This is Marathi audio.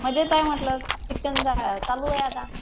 मजेत आहे म्हंटल. शिक्षण झालं चालू आहे आता.